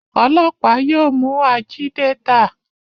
ọlọpa yóò mú Ajídétà.